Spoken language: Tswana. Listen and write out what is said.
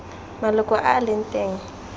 maloko a a leng teng